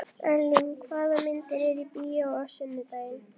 Erling, hvaða myndir eru í bíó á sunnudaginn?